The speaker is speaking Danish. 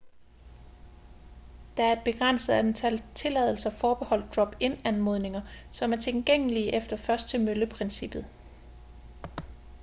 der er et begrænset antal tilladelser forbeholdt drop-in anmodninger som er tilgængelige efter først-til-mølle-princippet